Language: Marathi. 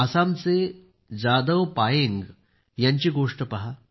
आसामचे जादव पायेंग यांचीच गोष्ट पहा